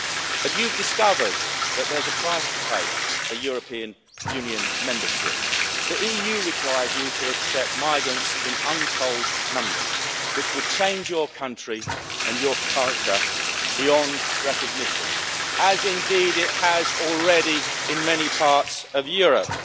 But you have discovered that there's a price to pay for European Union membership the EU requires you to accept migrants in untold numbers, which would change your country and your culture beyond recognition, as indeed it has already in many parts of Europe.